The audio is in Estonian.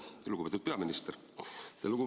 Lugupeetud minister!